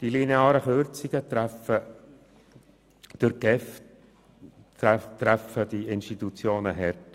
Die linearen Kürzungen treffen die durch die GEF subventionierten Institutionen hart.